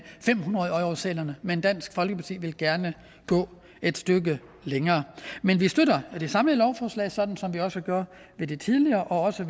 fem hundrede eurosedlerne men dansk folkeparti vil gerne gå et stykke længere men vi støtter det samlede lovforslag sådan som vi også gjorde med det tidligere og også